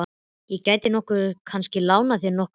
Ég gæti nú kannski lánað þér nokkur stykki.